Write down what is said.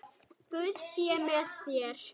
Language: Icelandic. Guð sé með þér.